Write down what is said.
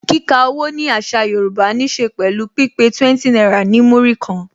Kika owó ni àṣà Yorùbá ní se pẹ̀lú pípé 20 náírà ní Múrí kan